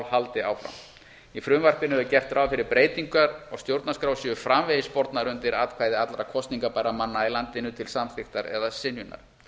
haldi áfram í frumvarpinu er gert ráð fyrir að breytingar á stjórnarskrá séu framvegis bornar undir atkvæði allra kosningabærra manna í landinu til samþykktar eða synjunar